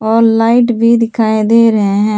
और लाईट भी दिखाई दे रहे है।